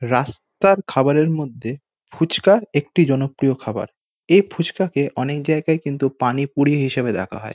রাস্তার খাবার এর মধ্যে ফুচকা একটি জনপ্রিয় খাবার। এই ফুচকাকে অনেক জায়গায় কিন্তু পানিপুরি হিসাবে দেখা হয়।